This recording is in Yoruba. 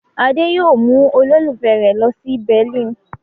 Adé yóò mú olólùfẹ́ rẹ̀ lọ sí Berlin.